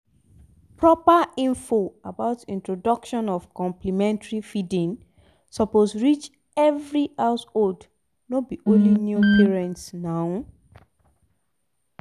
proper info about introduction of complementary feeding suppose reach every householdno be only new parents naw